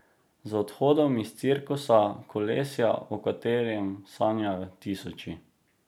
Z odhodom iz cirkusa, kolesja, o katerem sanjajo tisoči.